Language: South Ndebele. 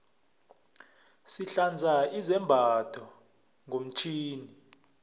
sihlanza izambatho ngomtjhini